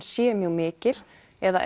sé mjög mikil eða